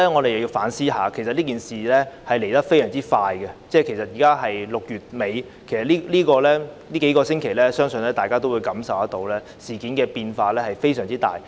其實整件事來得非常快，現在是6月底，但在這數星期，相信大家也感受到事態變化之大。